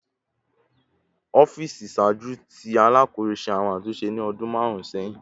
Ọfiisi iṣaaju ti Alakoso ṣe awọn atunṣe ni ọdun marun sẹhin